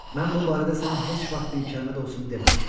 Mən bu barədə sənə heç vaxt bir kəlmə də olsun deməmişəm.